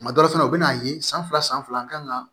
Kuma dɔ la fɛnɛ u bɛ n'a ye san fila san fila an kan ka